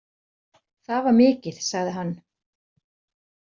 Það var mikið, sagði hann.